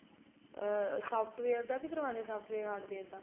ਅਹ software ਦਾ ਵੀ ਕਰਵਾਦੇ ਹੈ software hardware ਦਾ